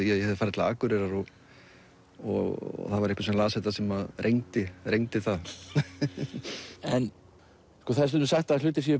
ég hefði farið til Akureyrar og og það var einhver sem las þetta sem rengdi það en það er stundum sagt að hlutir séu